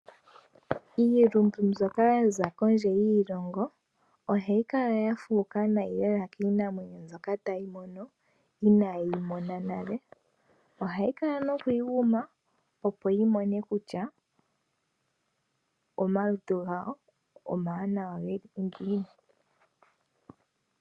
Iilumbu mbyoka yaza kondje yiilongo ohayi kala ya fuuka uunene lela kiinamwenyo mbyoka taya mono inaaye yimona nale. Ohaya kala noku yiguma opo ya mone kutya omalutu gawo omawanawa ngiini.